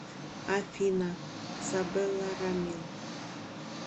афина сабела рамил